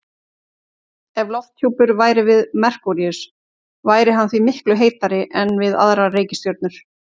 Ef lofthjúpur væri við Merkúríus væri hann því miklu heitari en við aðrar reikistjörnur.